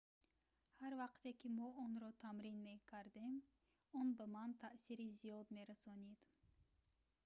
ҳар вақте ки мо онро тамрин мекардем он ба ман таъсири зиёд мерасонид